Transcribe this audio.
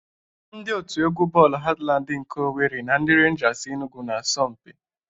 Ndị otu egwu bọọlụ Hatlandị nke Owere na ndị Renjas Enugwu na-asọ mpi.